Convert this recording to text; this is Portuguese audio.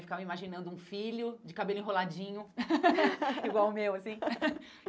Ficava me imaginando um filho de cabelo enroladinho, igual o meu, assim.